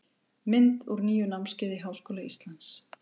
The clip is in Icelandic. Mynd úr nýju námskeiði í Háskóla Íslands.